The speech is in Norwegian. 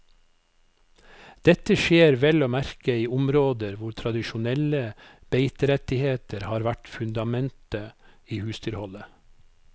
Dette skjer vel å merke i områder hvor tradisjonelle beiterettigheter har vært fundamentet i husdyrholdet.